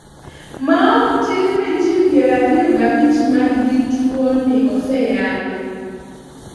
maok tin ni ji piero ariyo gabich man gi tuo ni oseyangi